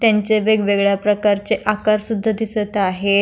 त्यांचे वेगवेगळ्या प्रकारचे आकार सुध्दा दिसत आहे.